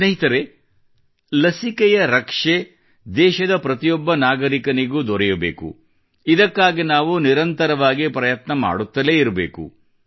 ಸ್ನೇಹಿತರೇ ಲಸಿಕೆಯ ಸುರಕ್ಷತೆ ದೇಶದ ಪ್ರತಿಯೊಬ್ಬ ನಾಗರಿಕನಿಗೂ ದೊರೆಯಬೇಕು ಇದಕ್ಕಾಗಿ ನಾವು ನಿರಂತರವಾಗಿ ಪ್ರಯತ್ನ ಮಾಡುತ್ತಲೇ ಇರಬೇಕು